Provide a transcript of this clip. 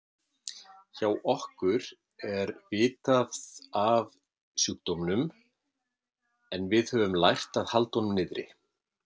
Hjá okkur er vitað af sjúkdómnum en við höfum lært að halda honum niðri.